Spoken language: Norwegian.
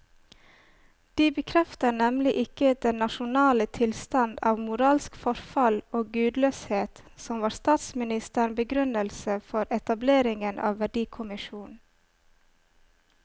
De bekrefter nemlig ikke den nasjonale tilstand av moralsk forfall og gudløshet som var statsministerens begrunnelse for etableringen av verdikommisjonen.